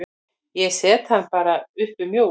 Ég set hann bara upp um jól.